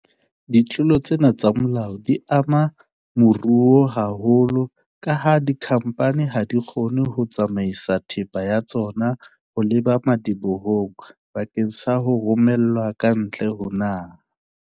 Ditlolo tsena tsa molao di ama moruo haholo kaha dikhamphani ha di kgone ho tsamaisa thepa ya tsona ho leba madibohong bakeng sa ho romelwa ka ntle ho naha.